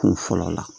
Kun fɔlɔ la